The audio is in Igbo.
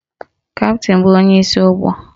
Kaptịn bụ onyeisi ụgbọ